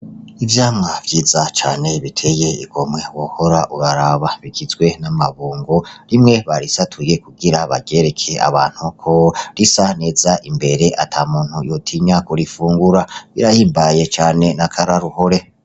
Ivyamwa vyiza cane biteye igomwe wohora uraraba bigizwe n’amabungo , rimwe barisatuye kugira baryereke abantu uko risa neza imbere ata muntu yotinya kurifungura. Birahimbaye cane n’akararuhore.